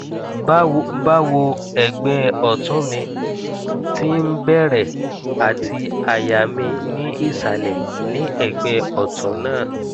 bawo ẹgbẹ ọtún mi ti ń bẹrẹ àti àyà mi ni isalẹ ní ẹgbẹ ọtún náà